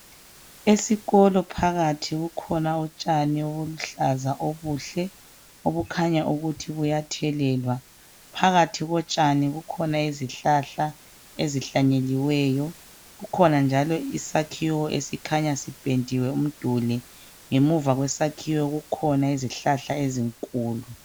Esikolo phakathi kukhona utshani obuluhlaza obuhle obukhanya ukuthi buyathelelwa. Phakathi kotshani kukhona izihlahla ezihlanyeliweyo kukhona njalo isakhiwo esikhanya sipendiwe umduli ngemuva kwesakhiwo kukhona izihlahla enkulu.